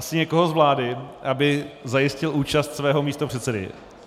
Asi někoho z vlády, aby zajistil účast svého místopředsedy.